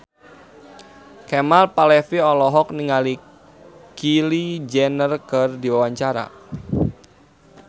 Kemal Palevi olohok ningali Kylie Jenner keur diwawancara